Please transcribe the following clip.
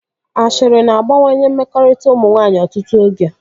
Ashịrị na-agbawanye mmekọrịta ụmụ nwaanyị ọtụtụ oge